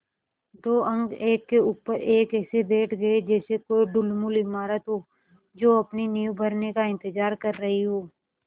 दो अंक एक के ऊपर एक ऐसे बैठ गये जैसे कोई ढुलमुल इमारत हो जो अपनी नींव भरने का इन्तज़ार कर रही हो